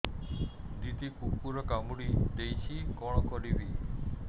ଦିଦି କୁକୁର କାମୁଡି ଦେଇଛି କଣ କରିବି